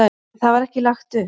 En það var ekki lagt upp.